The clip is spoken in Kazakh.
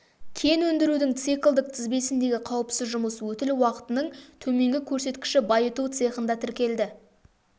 кен өндірудің циклдік тізбегіндегі қауіпсіз жұмыс өтіл уақытының төменгі көрсеткіші байыту цехында тіркелді